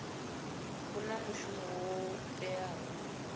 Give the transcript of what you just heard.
vhu na mushumo wo teaho